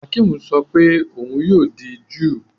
Akim sọ pé òun yóò di júù